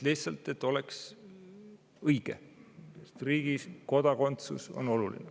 Lihtsalt, et oleks õige, sest riigis kodakondsus on oluline.